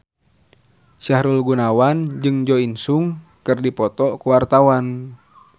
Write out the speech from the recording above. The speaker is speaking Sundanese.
Sahrul Gunawan jeung Jo In Sung keur dipoto ku wartawan